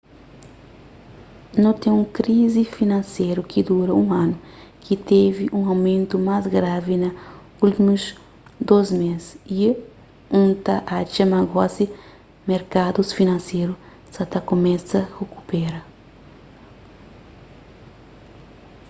nu ten un krizi finanseru ki dura un anu ki tevi un mumentu más gravi na últimus dôs mês y n ta atxa ma gosi merkadus finanseru sa ta kumesa rikupera